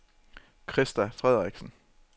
Christa Frederiksen